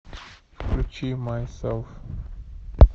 включи майсэлф